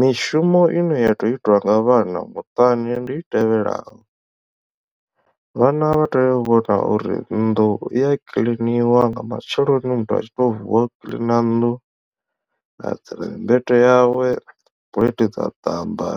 Mishumo ine ya tea u itiwa nga vhana muṱani ndi i tevhelaho vhana vha tea u vhona uri nnḓu iya kiḽiniwa nga matsheloni muthu a tshi to vuwa u kiḽina nnḓu a adzela mmbete yawe puḽeithi dza ṱamba